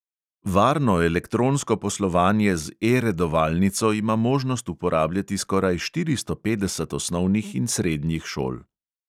Varno elektronsko poslovanje z E redovalnico ima možnost uporabljati skoraj štiristo petdeset osnovnih in srednjih šol.